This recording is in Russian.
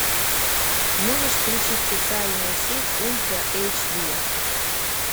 можешь включить социальная сеть ультра эйч ди